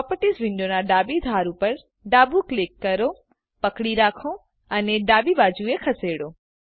properties વિન્ડોનાં ડાબી ધાર ઉપર ડાબું ક્લિક કરો પકડી રાખો અને ડાબી બાજુએ ખસેડો